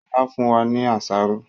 Sọlá fún wa ní àsáró